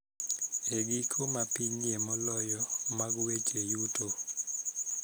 E giko ma pinyie moloyo mag weche yuto.